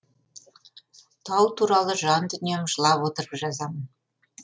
тау туралы жан дүнием жылап отырып жазамын